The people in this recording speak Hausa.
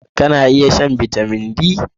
Kana iya shan Bitamin D?